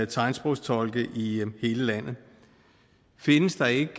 tegnsprogstolke i hele landet findes der ikke